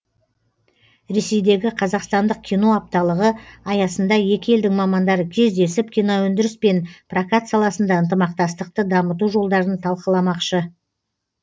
ресейдегі қазақстандық кино апталығы аясында екі елдің мамандары кездесіп киноөндіріс пен прокат саласында ынтымақтастықты дамыту жолдарын талқыламақшы